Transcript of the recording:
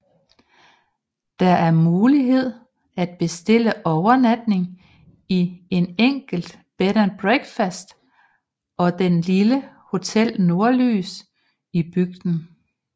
Der er mulighed at bestille overnatning i en enkelt bed and breakfast og den lille hotel Nordlys i bygden